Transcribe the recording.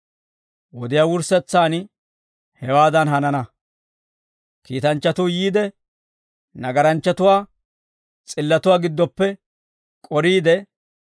Wodiyaa wurssetsaan hewaadan hanana; kiitanchchatuu yiide, nagaranchchatuwaa s'illatuwaa gidooppe k'oriide,